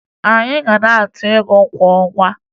Anyị ga na-atụ ego kwa ọnwa